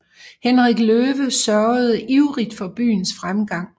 Henrik Løve sørgede ivrigt for byens fremgang